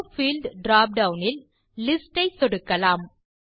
allow field drop down இல் list ஐ சொடுக்கலாம்